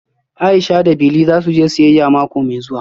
Aisha da Bili za su je siyayya mako mai zuwa